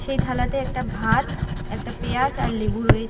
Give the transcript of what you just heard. সেই থালাতে একটা ভাত একটা পিয়াজ আর লেবু রয়ে--